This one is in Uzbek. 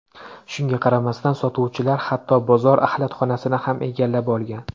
Shunga qaramasdan, sotuvchilar hatto bozor axlatxonasini ham egallab olgan.